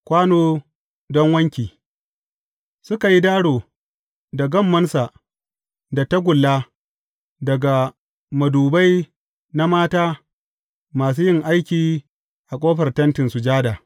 Kwano don wanki Suka yi daro da gammonsa da tagulla daga madubai na mata masu yin aiki a ƙofar Tentin Sujada.